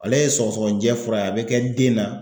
Ale ye sɔgɔsɔgɔnijɛ fura ye a bɛ kɛ den na